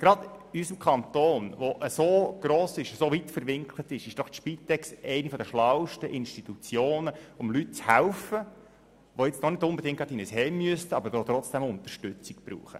Gerade in unserem grossen, weit verwinkelten Kanton ist die Spitex doch eine der schlausten Institutionen, um Leuten zu helfen, die zwar noch nicht unbedingt in ein Heim eintreten müssten, aber trotzdem Unterstützung benötigen.